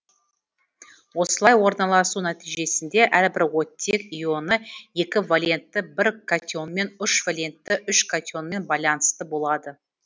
осылай орналасу нәтижесінде әрбір оттек ионы екі валентті бір катионмен үш валентті үш катионмен байланысты болады